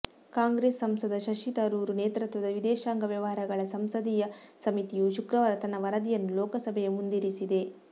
ಕಾಂಗ್ರೆಸ್ ಸಂಸದ ಶಶಿ ತರೂರ್ ನೇತೃತ್ವದ ವಿದೇಶಾಂಗ ವ್ಯವಹಾರಗಳ ಸಂಸದೀಯ ಸಮಿತಿಯು ಶುಕ್ರವಾರ ತನ್ನ ವರದಿಯನ್ನು ಲೋಕಸಭೆಯ ಮುಂದಿರಿಸಿದೆ